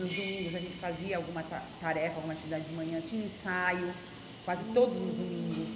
Nos domingos a gente fazia alguma ta tarefa, alguma atividade de manhã, tinha ensaio quase hum todos os domingos.